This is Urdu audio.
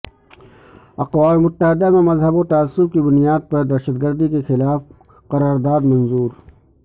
اقوام متحدہ میں مذہب و تعصب کی بنیاد پر دہشتگردی کیخلاف قرار داد منظور